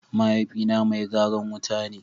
Mahaifi na mai garan wuta ne.